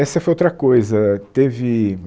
Essa foi outra coisa, teve...